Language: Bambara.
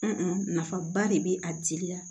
nafaba de bɛ a jeli la